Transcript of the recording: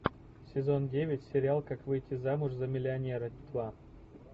сезон девять сериал как выйти замуж за миллионера два